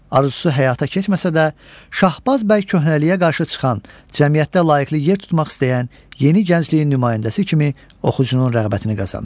Arzusu həyata keçməsə də, Şahbaz bəy köhnəliyə qarşı çıxan, cəmiyyətdə layiqli yer tutmaq istəyən yeni gəncliyin nümayəndəsi kimi oxucunun rəğbətini qazanır.